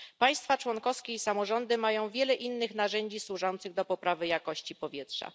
Państwa członkowskie i samorządy mają wiele innych narzędzi służących do poprawy jakości powietrza.